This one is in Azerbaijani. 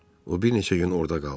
O bir neçə gün orda qaldı.